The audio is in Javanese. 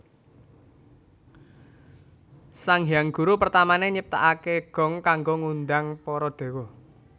Sang Hyang Guru pertamané nyiptakaké gong kanggo ngundhang para dewa